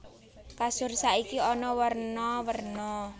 Kasur saiki ana werna werna